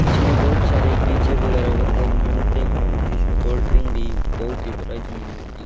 इसमे बहुत सारे पिज्जे वगैरा बर्गर मिलते है जिसमे कोल्ड ड्रिंक भी बहुत ही प्राइस मे मिलती--